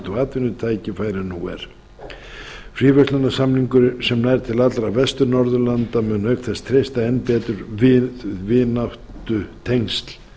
og atvinnutækifæri en nú er fríverslunarsamningur sem nær til allra vestur norðurlanda mun auk þess treysta enn betur vináttutengsl